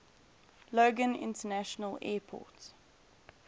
logan international airport